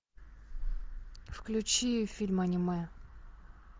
включи фильм аниме